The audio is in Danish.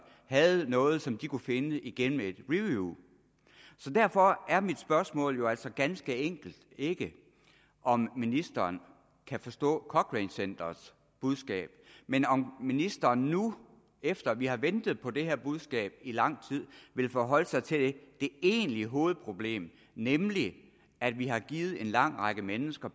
havde noget som de kunne finde igennem et review så derfor er mit spørgsmål altså ganske enkelt ikke om ministeren kan forstå cochrane centerets budskab men om ministeren nu efter at vi har ventet på det her budskab i lang tid vil forholde sig til det egentlige hovedproblem nemlig at vi har givet en lang række mennesker